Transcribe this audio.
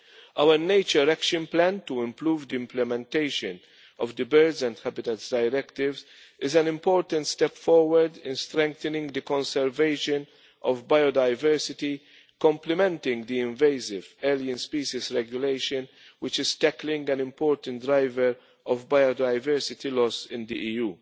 Our nature action plan to improve the implementation of the Birds and Habitats Directives is an important step forward in strengthening the conservation of biodiversity, complementing the Invasive Alien Species Regulation, which is tackling an important driver of biodiversity loss in the